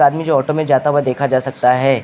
मि जो ऑटो में जाता हुआ देखा जा सकता है।